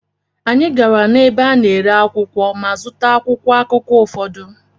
Anyị gara n’ebe a na-ere akwụkwọ ma zụta akwụkwọ akụkọ ụfọdụ.